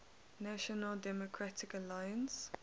national democratic alliance